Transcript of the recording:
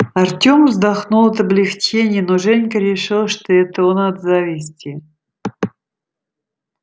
артем вздохнул от облегчения но женька решил что это он от зависти